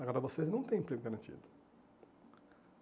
Agora vocês não têm emprego garantido.